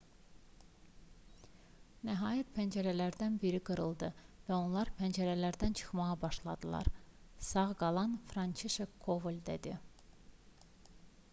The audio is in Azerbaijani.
nəhayət pəncərələrdən biri qırıldı və onlar pəncərədən çıxmağa başladılar sağ qalan françişek koval dedi